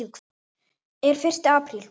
Er fyrsti apríl?